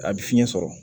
A bɛ fiɲɛ sɔrɔ